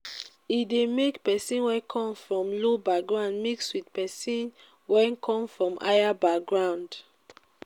e de make person wey come from low background mix with persin wey come from higher background